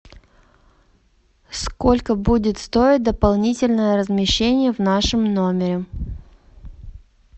сколько будет стоить дополнительное размещение в нашем номере